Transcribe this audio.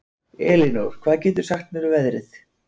Elinór, hvað geturðu sagt mér um veðrið?